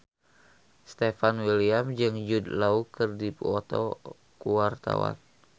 Stefan William jeung Jude Law keur dipoto ku wartawan